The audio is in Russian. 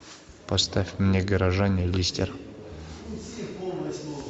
поставь мне горожане листер